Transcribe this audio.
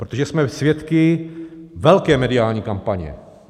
Protože jsme svědky velké mediální kampaně.